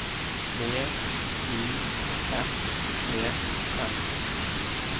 V I S E S